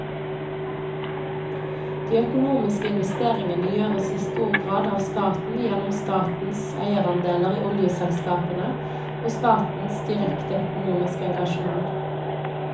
De økonomiske investeringene gjøres i stor grad av staten gjennom statens eierandeler i oljeselskapene og statens direkte økonomiske engasjement.